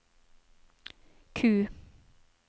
Q